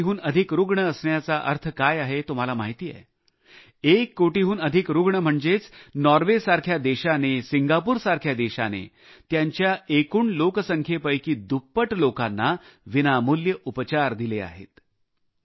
एक कोटीहून अधिक रुग्ण असण्याचा अर्थ काय आहे तुम्हाला माहिती आहे एक कोटीहून अधिक रुग्ण म्हणजेच नॉर्वे सिंगापूर सारख्या देशाने त्यांच्या एकूण लोकसंख्येपैकी दुप्पट लोकांना विनामूल्य उपचार दिले आहेत